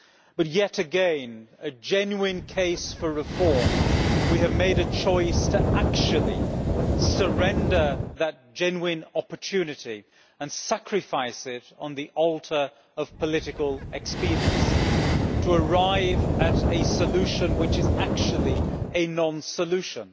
But yet again, though there is a genuine case for reform we have made a choice to actually surrender that genuine opportunity and sacrifice it on the altar of political expediency, to arrive at a solution which is actually a non solution.